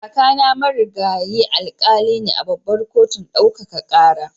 Kakana Marigayi Alkali ne a Babbar Kotun Ɗaukaka Kara.